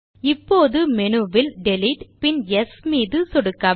இப்போது மெனுவில் டிலீட் பின் யெஸ் தேர்வு மீதும் சொடுக்கவும்